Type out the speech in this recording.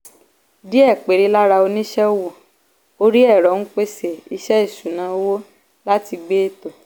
díẹ̀ péré lára oníṣẹ́ owó orí ẹ̀rọ ń pèsè iṣẹ́ ìṣúnná owó láti gbé ètò.